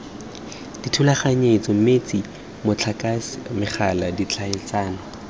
dithulaganyetso metsi motlakase megala tlhaeletsano